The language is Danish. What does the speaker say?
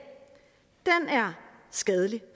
skadeligt